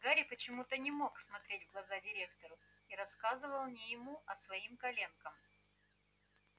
гарри почему-то не мог смотреть в глаза директору и рассказывал не ему а своим коленкам